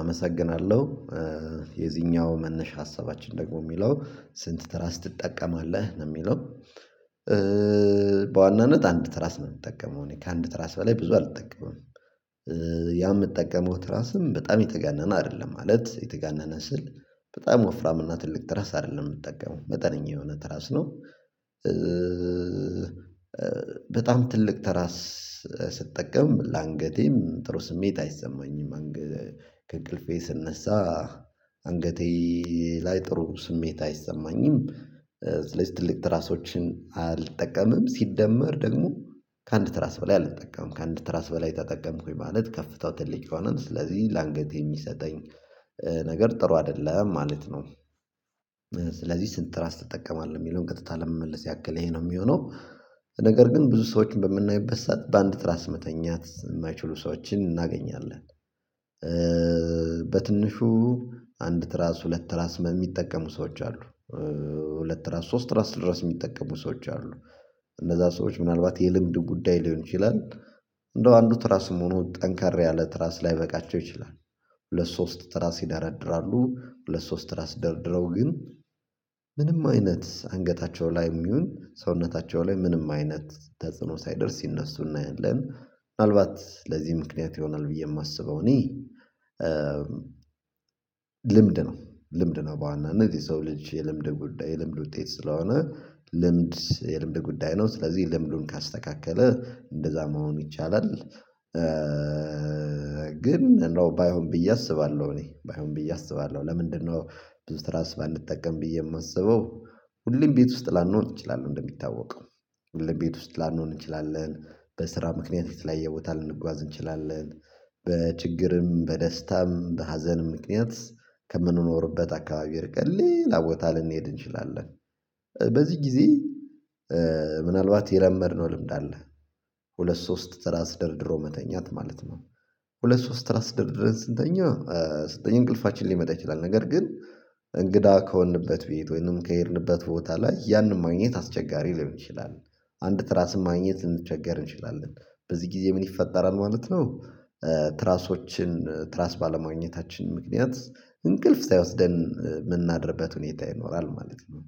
አመሰግናለሁ። የዚኛው መነሻ ሀሳባችን ደግሞ የሚለው ስንት ትራስ ትጠቀማለህ ነው የሚለው? በዋናነት አንድ ትራስ ነው የምጠቀመው እኔ ከአንድ ትራስ በላይ ብዙ አልጠቀመም። ያ የምጠቀመው ትራስም በጣም የተጋነነ አይደለም ማለት የተጋነነ ስል በጣም ወፍራም እና ትልቅ ትራስ አይደለም የምጠቀመው መጠነኛ የሆነ ትራስ ነው። በጣም ትልቅ ተራ ስጠቀም ለአንገቴም ጥሩ ስሜት ከይሰማኝም አንገ ከእንቅልፌ ስነሳ አንገቴ ላይ ጥሩ ስሜት አይሰማኝም። ስለዚህ ትልቅ ትራሶችን አልጠቀምም ሲደመር ደግሞ ከአንድ ትራስ በላይ አልጠቀምም ከአንድ ትራስ በላይ ተጠቀምኩኝ ማለት ከፍታው ትልቅ ይሆነል ስለዚህ ለአንገቴ የሚሰጠኝ ነገር ጥሩ አይደለም ማለት ነው። ስለዚህ ስንት ትራስ ትጠቀማለህ የሚለውን ቀጥታ ለመመለስ ያክል ይሄ ነው የሚሆነው ነገር ግን ብዙ ሰዎችን በምናይበሳት በአንድ ትራስ መተኛት የማይችሉ ሰዎችን እናገኛለን። በትንሹ አንድ ትራስ ሁለት ትራስ በሚጠቀሙ ሰዎች አሉ። ሁለት ትራስ ሶስት ትራስ ድረስ የሚጠቀሙ ሰዎች አሉ። እነዛ ሰዎች ምናልባት የልምድ ጉዳይ ሊሆን ይችላል። እንደው አንዱ ትራስም ሆኖ ጠንከር ያለ ትራስ ላይበቃቸው ይችላል። ሁለት ሶስት ትራስ ይደረድራሉ ሁለት ሶስት ትራስ ደርድረው ግን ምንም አይነት አንገታቸው ላይም ይሁን ሰውነታቸው ላይ ምንም አይነት ተጽዕኖ ሳይደርስ ሲነሱ እናያለን። ምናልባት ለዚህ ምክንያት ይሆናል ብዬ የማስበው እኔ ልምድ ነው ልምድ ነው በዋናነት የሰው ልጅ የልምድ ጉዳይ የልምድ ውጤት ስለሆነ ልምድ የልምድ ጉዳይ ነው ስለዚህ ልምዱን ካስተካከለ እንደዛ መሆን ይቻላል። ግን እንደው ባይሆን ብዬ አስባለሁ እኔ ባይሆን ብዬ አስባለሁ ለምንድነው? ብዙ ትራስ ባንጠቀም ብዬ የማስበው ሁሌም ቤት ውስጥ ላኖሆን እንችላለን እንደሚታወቀው ሁሌም ቤት ውስጥ ላንሆን እንችላለን በስራ ምክንያት የተለያየ ቦታ ልንጓዝ እንችላለን። በችግርም በደስታም በሀዘንም ምክንያት ከምንኖርበት አካባቢ ርቀን ሌላ ቦታ ልንሄድ እንችላለን። በዚህ ጊዜ ምናልባት የለመድነው ልምድ አለ። ሁለት ሶስት ስራ ደርድሮ መተኛት ማለት ነው። ሁለት ሶስት ትራስ ደርድረን ስንተኛ እንቅልፋችን ሊመጣ ይችላል ነገር ግን እንግዳ ከሆንበት ቤት ወይንም ከሄድንበት ቦታ ላይ ያንን ማግኘት አስቸጋሪ ሊሆን ይችላል። አንድ ትራስ ማግኘት ልንቸገር እንችላለን። በዚህ ጊዜ ምን ይፈጠራል ማለት ነው? ትራሶችን ትራስ ባለማግኘታችን ምክንያት እንቅልፍ ሳይወስደን የምናድርበት ሁኔታ ይኖራል ማለት ነው።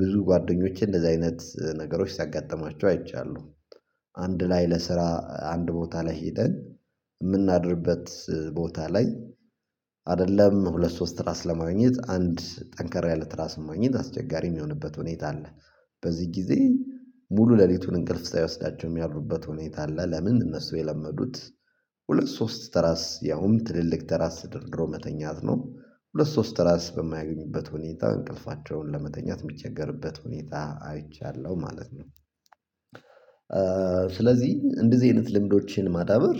ብዙ ጓደኞቼ እንደዚህ አይነት ነገሮች ሲያጋጥማቸው አይቻለሁ። አንድ ላይ ለስራ አንድ ቦታ ላይ ሄደን የምናድርበት ቦታ ላይ አይደለም ሁለት ሶስት ራስ ለማግኘት አንድ ጠንከራ ያለ ትራስ ማግኘት አስቸጋሪ የሚሆንበት ሁኔታ አለ። በዚህ ጊዜ ሙሉ ሌሊቱን እንቅልፍ ሳይወስዳቸው የሚያድሩበት ሁኔታ አለ። ለምን? እነሱ የለመዱት ሁለት ሶስት ትራስ ያውም ትልልቅ ትራስ ተደርድሮ መተኛት ነው ሁለት ሶስት ተራስ በማያገኙበት ሁኔታ እንቅልፋቸውን ለመተኛት የሚቸገርበት ሁኔታ አይቻለሁ ማለት ነው። ስለዚህ እንደዚህ አይነት ልምዶችን ማዳበር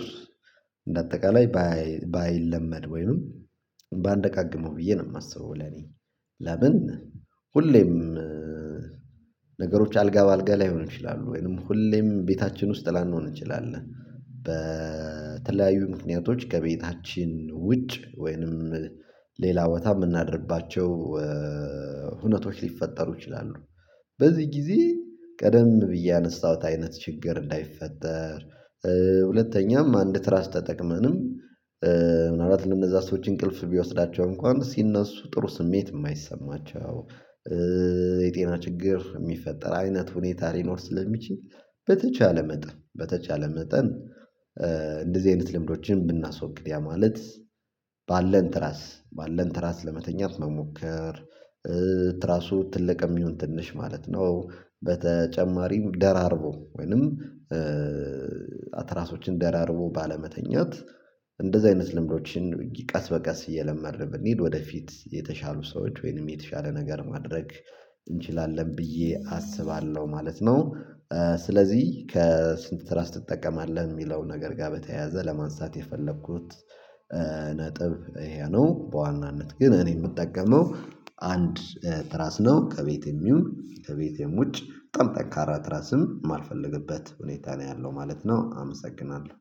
በአጠቃላይ ባይለመድ ወይንም ባንደጋግመው ብዬ ነው የማስበው ለኔ። ለምን ሁሌም ነገሮች አልጋ በአልጋ ላይሆን ይችላሉ ወይንም ሁሌም ቤታችን ውስጥ ላንሆን እንችላለን። በተለያዩ ምክንያቶች ከቤታችን ውጭ ወይንም ሌላ ቦታ የምናድርባቸው ሁነቶች ሊፈጠሩ ይችላሉ። በዚህ ጊዜ ቀደም ብዬ ያነሳሁት አይነት ችግር እንዳይፈጠር ሁለተኛም አንድ ትራስ ተጠቅመንም ምናልባት ለነዛ ሰዎች እንቅልፍ ቢወስዳቸው እንኳን ሲነሱ ጥሩ ስሜት የማይሰማቸው። የጤና ችግር የሚፈጠር አይነት ሁኔታ ሊኖር ስለሚችል በተቻለ መጠን በተቻለ መጠን እንደዚህ አይነት ልምዶችን ብናስወግድ ያ ማለት ባለን ትራስ ባለን ትራስ ለመተኛት መሞከር። ትራሱ ትልቅም ይሁን ትንሽ ማለት ነው። በተጨማሪም ደራርቦ ወይንም ትራሶችን ደራርቦ ባለመተኛት እንደዚህ አይነት ልምዶችን ቀስ በቀስ እየለመድን በሰንሄድ ወደፊት የተሻሉ ሰዎች ወይንም የተሻለ ነገር ማድረግ እንችላለን ብዬ አስባለሁ ማለት ነው። ስለዚህ ከስንት ትራስ ትጠቀማለህ አለህ የሚለው ነገር ጋር በተያያዘ ለማንሳት የፈለኩት። ነጥብ ይሄ ነው በዋናነት ግን እኔ የምጠቀመው አንድ ትራስ ነው ከቤቴም ይሁን ከቤቴም ውጭ በጣም ጠንካራ ትራስም ማልፈልግበት ሁኔታ ነው ያለው ማለት ነው። አመሰግናለሁ